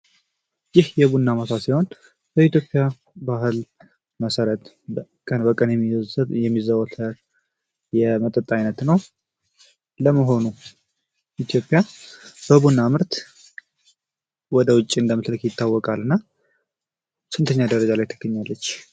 ይህ የቡና ማሳ ሲሆን በኢትዮጵያ ባህል መሰረት ቀን በቀን የሚዘወተር የመጠጥ አይነት ነው። ለመሆኑ ኢትዮጵያ በቡና ምርት ወደ ውጭ እንደምትልክ ይታወቃል እና ስንተኛ ደረጃ ላይ ትገኛለች?